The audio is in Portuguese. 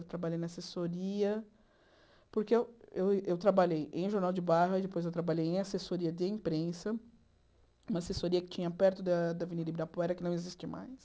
Eu trabalhei na assessoria, porque eu eu eu trabalhei em jornal de bairro, aí depois eu trabalhei em assessoria de imprensa, uma assessoria que tinha perto da da Avenida Ibirapuera, que não existe mais.